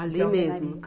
Ali mesmo?